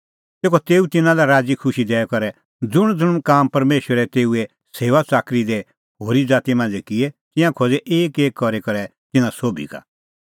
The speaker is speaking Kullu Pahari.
तेखअ तेऊ तिन्नां लै राज़ीखुशी दैई करै ज़ुंणज़ुंण काम परमेशरै तेऊए सेऊआच़ाकरी दी होरी ज़ाती मांझ़ै किऐ तिंयां खोज़ै एकएक करी करै तिन्नां सोभी का